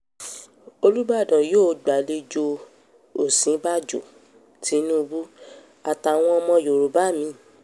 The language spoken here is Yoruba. olùbàdàn yóò gbàlejò òsínbàjò tìnùbù àtàwọn ọmọ yorùbá mi